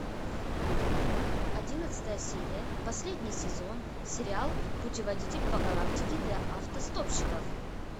одиннадцатая серия последний сезон сериал путеводитель по галактике для автостопщиков